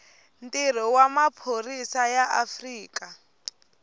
ntirho wa maphorisa ya afrika